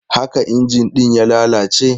Haka injin ɗin ya lalace?